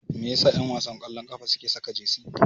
Me yasa ƴanwasan ƙwallon ƙafa suke saka jesi?